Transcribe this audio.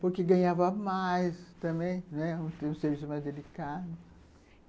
Porque ganhava mais também, né, um serviço mais delicado.